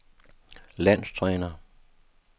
landstræner